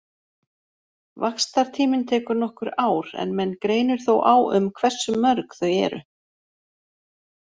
Vaxtartíminn tekur nokkur ár en menn greinir þó á um hversu mörg þau eru.